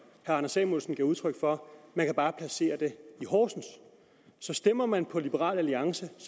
herre anders samuelsen gav udtryk for man bare placere det i horsens så stemmer man på liberal alliance